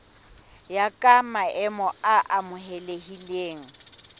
ya ka maemo a amohelehileng